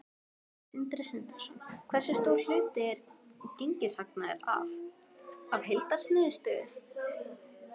Sindri Sindrason: Hversu stór hluti er gengishagnaður af, af heildarniðurstöðu?